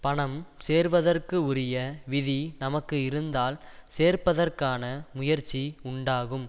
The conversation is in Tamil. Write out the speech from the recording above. பணம் சேர்வதற்கு உரிய விதி நமக்கு இருந்தால் சேர்ப்பதற்கான முயற்சி உண்டாகும்